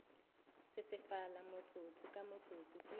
sesefala motsotso ka motsotso ke